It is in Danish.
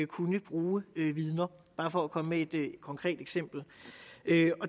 kunne bruge vidner bare for at komme med et konkret eksempel